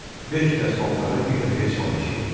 Beş dəst paltarı bir dəfəyə sifariş eləyirdi.